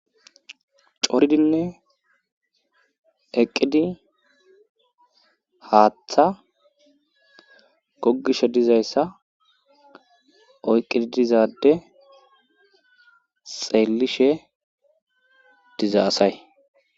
Coridinne eqqidi haaththa gogishe dizayssa oyqqidi dizade xeellishe diza asay